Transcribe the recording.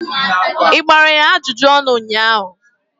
ị gbara ya ajụjụ ọnụ ụnyahụ?